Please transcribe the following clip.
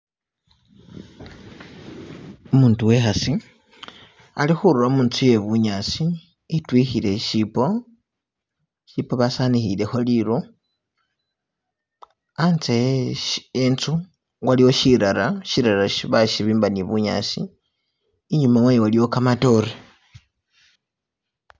Umutu wekhasi ali khundula mutsu ye bunyasi itwikhile chichibo chichibo basanikhilekho liru khatse henzu waliwo shitala shitala shi bashibimba nibunyasi inyuma wayo iliyo gamadore.